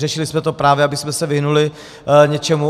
Řešili jsme to právě, abychom se vyhnuli něčemu.